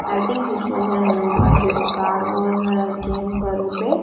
i think this was a new car this car was a came for repair.